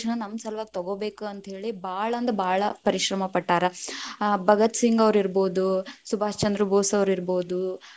ನಮ್ ಸಲುವಾಗಿ ತಗೊಬೇಕ ಅಂತ ಹೇಳಿ, ಭಾಳ ಅಂದ್ರ ಭಾಳ ಪರಿಶ್ರಮ ಪಟ್ಟಾರ. ಆ ಭಗತ್ ಸಿಂಗ್ ಅವ್ರ ಇರ್ಬೋದು ಸುಭಾಷ್ ಚಂದ್ರ ಭೋಸ್‌ ಅವ್ರ ಇರ್ಬೋದು.